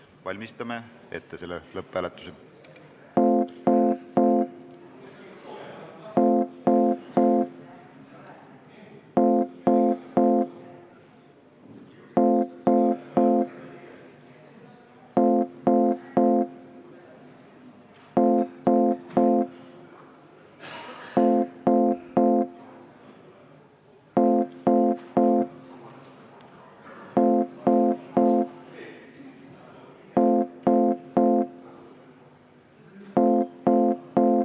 Valmistame hääletuse ette.